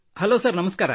hello sir ನಮಸ್ಕಾರ